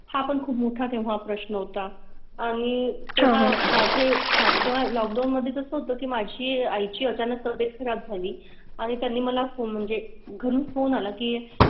हां, पण खूप मोठा तेव्हा ओप्रेशन होता. आणि माझे हा तेव्हा लॉकडाउन मध्येच होतो की माझी आई ची अचानक तब्येत खराब झाली आणि त्यांनी मला फोन म्हणजे घरून फोन आला की.